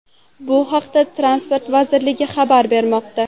Bu haqda Transport vazirligi xabar bermoqda .